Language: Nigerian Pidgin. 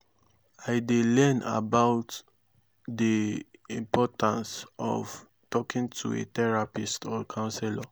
i dey learn about dey importance of talking to a therapist or counselor.